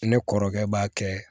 Ne kɔrɔkɛ b'a kɛ